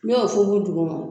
N ɲo funfun duguma o.